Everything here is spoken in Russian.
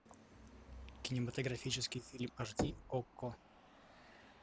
кинематографический фильм аш ди окко